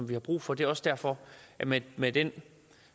vi har brug for det er også derfor med med den